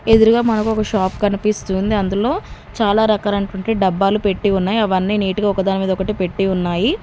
ఎదురుగా మనకు ఒక షాప్ కనిపిస్తుంది. అందులో చాలా రకాల అయినటువంటి డబ్బాలు పెట్టి ఉన్నాయి. అవన్నీ నీట్ గా ఒకదాని మీద ఒకటి పెట్టి ఉన్నాయి.